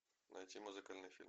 найти музыкальный фильм